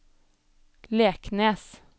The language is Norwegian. Leknes